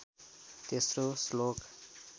तेस्रो श्लोक